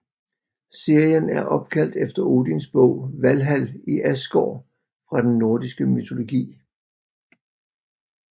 Serien er opkaldt efter Odins bolig Valhal i Asgård fra den nordiske mytologi